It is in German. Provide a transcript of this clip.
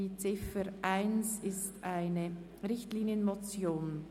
Die Ziffer 1 ist eine Richtlinienmotion.